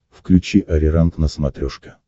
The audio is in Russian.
включи ариранг на смотрешке